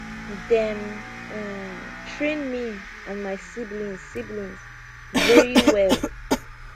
dem um train me and my siblings siblings very well